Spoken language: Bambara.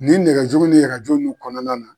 Ni nɛgɛjuru ni rajo nun kɔnɔna na.